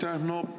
Aitäh!